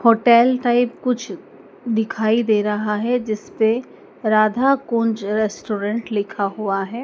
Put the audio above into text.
Hotel type कुछ दिखाई दे रहा है जिसपे राधाकुंज रेस्टोरेंट लिखा हुआ है।